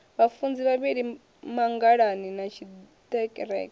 vhafunzi vhavhili mangalani na tshiḓereke